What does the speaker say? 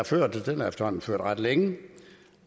ført og den har efterhånden været ført ret længe